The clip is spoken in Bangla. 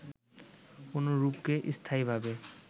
কোন রূপকে স্থায়ীভাবে